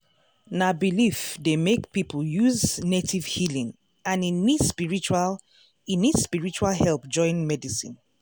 na belief dey make people use native healing and e need spiritual e need spiritual help join medicine.